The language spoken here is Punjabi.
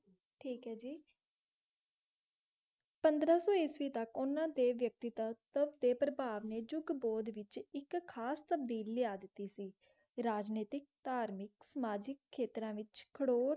ਟਾਕ ਹੈ ਜੀ ਪੰਦਰਾ ਸੋ ਇਕੀਸ ਤਕ ਓਨਾ ਦੇ ਬੇਟੀ ਕਾ ਟੀ ਪਾਰਦਰ ਨੇ ਜੁਕ ਦੋ ਦੇ ਵਿਚ ਇਕ ਖਾਸ ਤਬਦੀਲੀ ਲਇਆ ਦਿਤੀ ਕ ਰਾਜ ਨੀ ਟੀ ਤਾਰ੍ਮਿਕ ਸਮਾਜਿਕ ਖੈਯ੍ਤਾਰਾ ਵਿਚ ਕੈਰੂਰ